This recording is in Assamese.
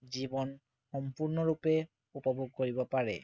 জীৱন সম্পূৰ্ণৰূপে উপভোগ কৰিব পাৰে